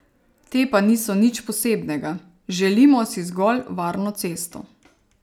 Te pa niso nič posebnega, želimo si zgolj varno cesto.